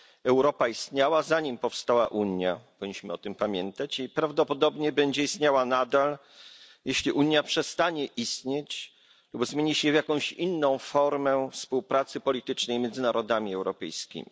Europa istniała zanim powstała Unia powinniśmy o tym pamiętać i prawdopodobnie będzie istniała nadal, nawet jeśli Unia przestanie istnieć lub zmieni się w jakąś inną formę współpracy politycznej między narodami europejskimi.